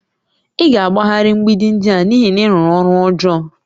Ị ga-agbagharị mgbidi ndị a n'ihi na ị rụrụ ọrụ ọjọọ